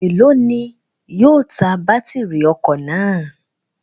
Elo ni yóò ta batiri ọkọ naa?